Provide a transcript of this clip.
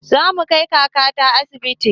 Zamu kai kakata asibiti